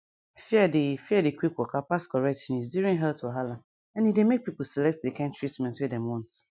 fear dey fear dey quick waka pass correct news during health wahala and e dey make pipo select di kain treatment wey dem want